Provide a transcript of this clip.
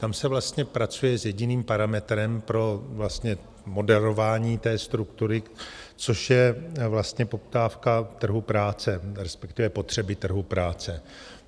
Tam se vlastně pracuje s jediným parametrem pro moderování té struktury, což je vlastně poptávka trhu práce, respektive potřeby trhu práce.